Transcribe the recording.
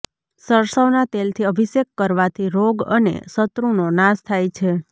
સરસવના તેલથી અભિષેક કરવાથી રોગ અને શત્રુનો નાશ થાય છે